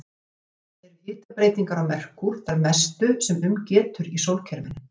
Sökum þessa eru hitabreytingar á Merkúr þær mestu sem um getur í sólkerfinu.